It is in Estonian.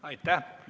Aitäh!